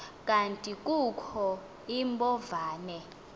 kanti kukho iimbovane